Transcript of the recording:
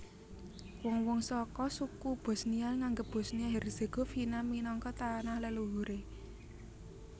Wong wong saka suku Bosnia nganggep Bosnia Herzegovina minangka tanah leluhuré